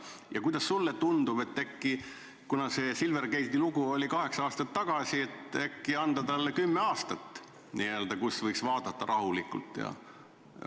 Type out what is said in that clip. Ja kuidas sulle tundub: kuna see Silvergate'i lugu oli kaheksa aastat tagasi, äkki anda komisjonile aega kümme aastat, mille tagant võiks asja vaadata rahulikult?